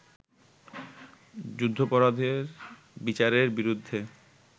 যুদ্ধাপরাধের বিচারের বিরুদ্ধে